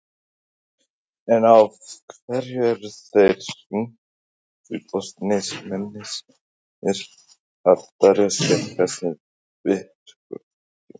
En af hverju eru þeir rígfullorðnir mennirnir að berjast gegn þessum virkjunum?